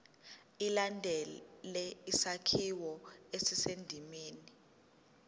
ilandele isakhiwo esisendimeni